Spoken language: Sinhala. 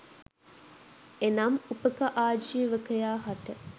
එනම් උපක ආජීවකයා හට